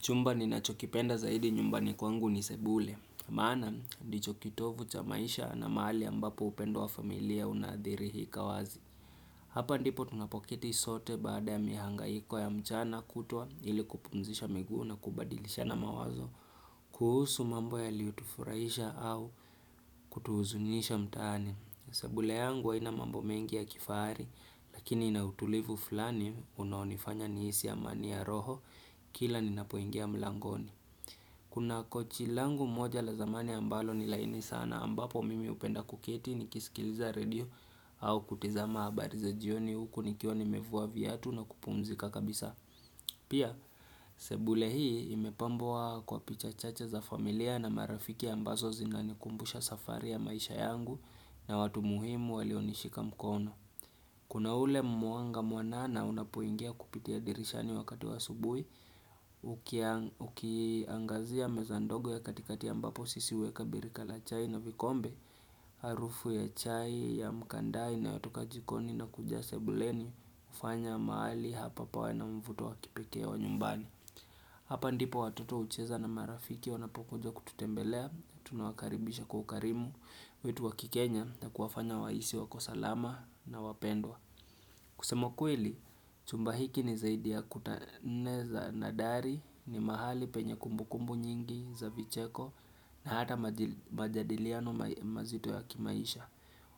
Chumba ni nachokipenda zaidi nyumbani kwangu ni sebule. Maana ndicho kitovu cha maisha na mahali ambapo upendo wa familia unadhihirika wazi. Hapa ndipo tunapoketi sote baada ya mihangaiko ya mchana kutwa ili kupunzisha miguu na kubadilishana mawazo. Kuhusu mambo yaliyotufurahisha au kutuhuzunisha mtaani. Sebule yangu haina mambo mengi ya kifahari lakini inautulivu fulani unoonifanya nihisi ya amani ya roho kila ninapoingia mlangoni. Kuna kochi langu moja la zamani ambalo ni laini sana ambapo mimi upenda kuketi nikisikiliza redio au kutiza habari jioni huku nikiwa mevua viatu na kupumzika kabisa. Pia, sebule hii imepambwa kwa picha chache za familia na marafiki ambazo zinanikumbusha safari ya maisha yangu na watu muhimu walionishika mkono. Kuna ule mwaanga mwanana unapuingia kupitia dirishani wakati asubui, ukiangazia meza ndogo ya katikatia ambapo sisi huweka birika la chai na vikombe, harufu ya chai ya mkanda inayotoka jikoni na kuja sebuleni ufanya maali hapa pawe na mvuto wa kipeke wa nyumbani. Hapa ndipo watoto ucheza na marafiki wanapokujo kutembelea, tunawakaribisha kwa ukarimu, wetu wakikenya na kuwafanya wahisi wako salama na wapendwa. Kusema ukweli, chumba hiki ni zaidi ya kuta nne za nadhari, ni mahali penye kumbukumbu nyingi za vicheko na hata majadiliano mazito ya kimaisha.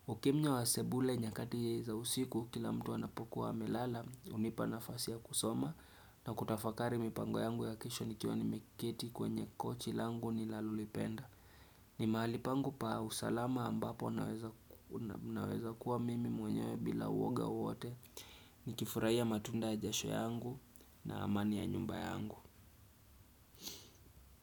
Ukimnya wa sebule nyakati za usiku kila mtu wanapokuwa melala unipanafasi ya kusoma na kutafakari mipango yangu ya kesho nikiwa nimeketi kwenye kochi langu ninaloipenda ni mahali pangu pa usalama ambapo naweza kuwa mimi mwenyewe bila uwoga wowote ni kifurai ya matunda ya jasho yangu na amani ya nyumba yangu.